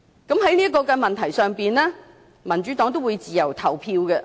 對於這項修正案，民主黨的議員會自由投票。